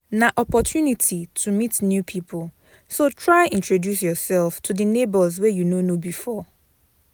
Na opportunity to meet new pipo so try introduce yourself to di neighbors wey you no know before